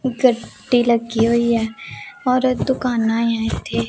गट्टी लगी हुई है और एक दुकाना यहां थे।